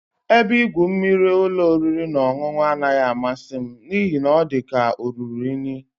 Ebe igwu mmiri ụlọ oriri na ọṅụṅụ anaghị amasị m n'ihi na ọ dị ka o ruru unyi